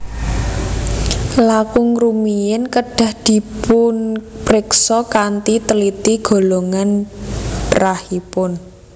Langkung rumiyin kedah dipunpriksa kanthi tliti golongan rahipun